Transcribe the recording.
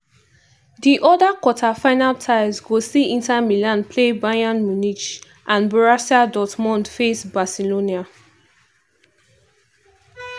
di oda quarter-final ties go see inter milan play bayern munich and borussia dortmund face barcelona.